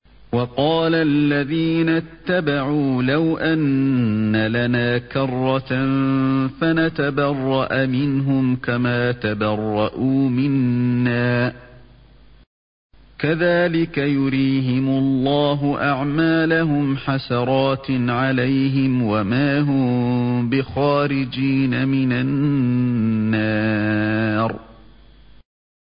وَقَالَ الَّذِينَ اتَّبَعُوا لَوْ أَنَّ لَنَا كَرَّةً فَنَتَبَرَّأَ مِنْهُمْ كَمَا تَبَرَّءُوا مِنَّا ۗ كَذَٰلِكَ يُرِيهِمُ اللَّهُ أَعْمَالَهُمْ حَسَرَاتٍ عَلَيْهِمْ ۖ وَمَا هُم بِخَارِجِينَ مِنَ النَّارِ